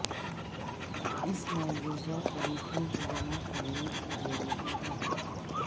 اس مجوزہ طریقوں کو جمع کرنے کے ضروری ہے